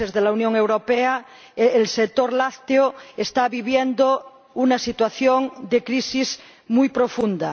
un fondo